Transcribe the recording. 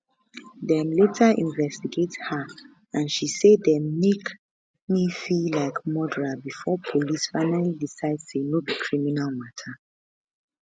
dem later investigate her and she say dem make me feel like murderer before police finaly decide say no be criminal mata